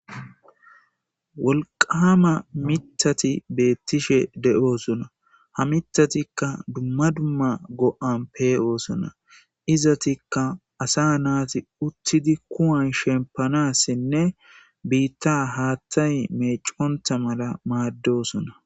Wolqama mitati beettishe de'osona. Ha mitatikka dumma dumma go'an pe'oosona. Izatikka asa naati uttidi kuwan shempanassinne biitta haattay meecento mala maaddosona.